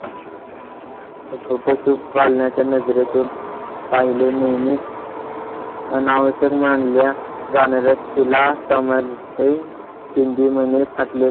पाळण्याच्या नजरेतून पाहिले नेहमी अनावश्यक मानल्या जाणाऱ्या तिला